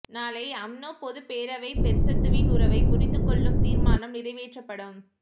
நாளை அம்னோ பொதுப் பேரவை பெர்சத்துவின் உறவை முறித்துக்கொள்ளும் தீர்மானம் நிறைவேற்றப்படும்